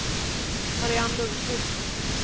Marianne Lundkvist